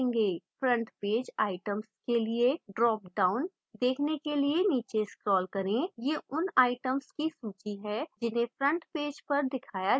front page items के लिए dropdown देखने के लिए नीचे scroll करें ये उन items की सूची है जिन्हें front पेज पर दिखाया जा सकता है